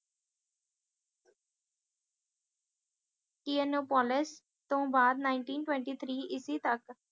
ਇਓਨੋਪੋਲਾਸ ਤੋਂ ਬਾਅਦ nineteen twenty three ਇਸ਼ਵੀਂ ਤੱਕ